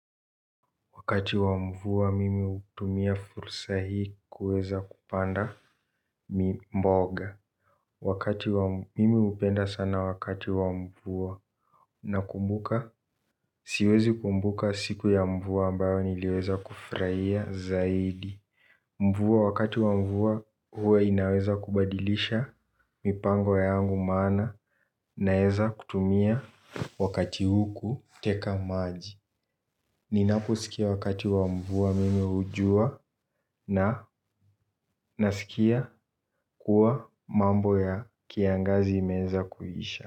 Wakati wa mvua mimi hutumia fursa hii kuweza kupanda mboga. Wakati wa, mimi hupenda sana wakati wa mvua. Nakumbuka siwezi kumbuka siku ya mvua ambayo niliweza kufurahia zaidi. Mvua wakati wa mvua, huwa inaweza kubadilisha mipango yangu maana naweza kutumia wakati huu kuteka maji. Ninaposikia wakati wa mvua mimi hujua na nasikia kuwa mambo ya kiangazi imeweza kuisha.